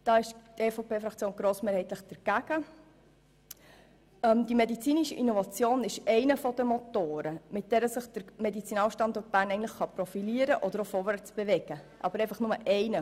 Die medizinische Innovation ist einer der Motoren, mit denen sich der Medizinalstandort Bern profilieren und vorwärtsbewegen kann.